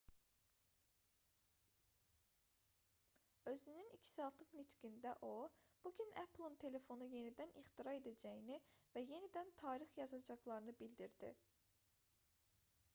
özünün 2 saatlıq nitqində o bu gün apple-ın telefonu yenidən ixtira edəcəyini və yenidən tarix yazacaqlarını bildirdi